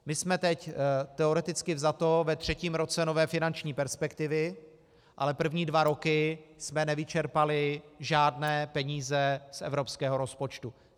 My jsme teď teoreticky vzato ve třetím roce nové finanční perspektivy, ale první dva roky jsme nevyčerpali žádné peníze z evropského rozpočtu.